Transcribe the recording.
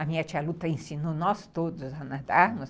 A minha tia Lu ensinou nós todos a nadarmos.